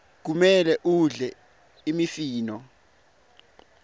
kumele udle imifino